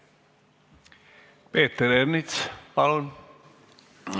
Peeter Ernits, palun!